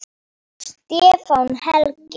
Stefán Helgi.